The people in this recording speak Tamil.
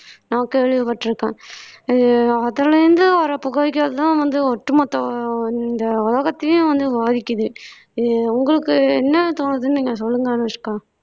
நா கேள்விப்பட்டிருக்கேன் அதுலே இருந்து வர்ற புகைகள்தான் வந்து ஒட்டுமொத்த இந்த உலகத்தையும் வந்து பாதிக்குது இது உங்களுக்கு என்ன தோணுதுன்னு நீங்க சொல்லுங்க அனுஷ்கா